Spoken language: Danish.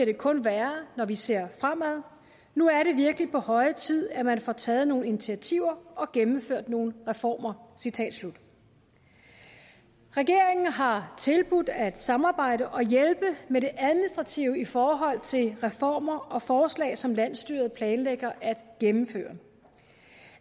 det kun værre når vi ser fremad nu er det virkelig på høje tid at man får taget nogle initiativer og gennemført nogle reformer citat slut regeringen har tilbudt at samarbejde og hjælpe med det administrative i forhold til reformer og forslag som landsstyret planlægger at gennemføre